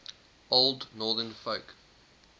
old northern folk